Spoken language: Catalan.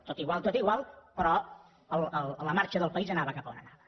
tot igual tot igual però la marxa del país anava cap on anava